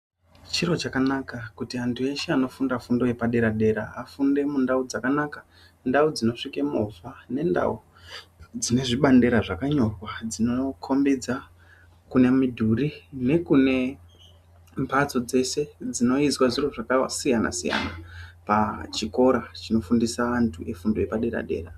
Chiro chakanaka kuti anhu eshe anofunda fundo yepadera dera afunde mundau dzakanaka ndau dzinosvika movha nendau dzino dzinezvibandera zvakanyorwa dzinokombedza kune mudhuri nekune mbatso dzeshe dzinoizwa zviro zvakasiyana siyana pachikora chinofundisa andu chefundu chepadera dera